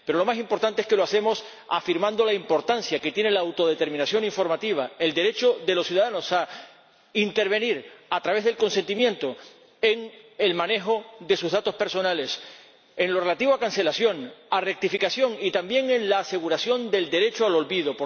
Pero lo más importante es que lo hacemos afirmando la importancia que tiene la autodeterminación informativa, el derecho de los ciudadanos a intervenir a través del consentimiento en el manejo de sus datos personales en lo relativo a la cancelación y la rectificación, y también en asegurar el derecho al olvido.